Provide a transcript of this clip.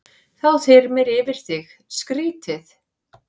Þá þyrmir yfir þig, skrýtið.